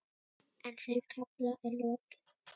En þeim kafla er lokið.